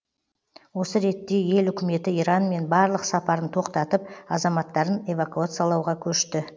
осы ретте ел үкіметі иранмен барлық сапарын тоқтатып азаматтарын эвакуациялауға көшті